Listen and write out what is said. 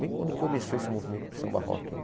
Bem quando começou esse movimento de samba rock aí.